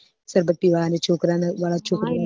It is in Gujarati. છોકરા ને છોકરા વાળા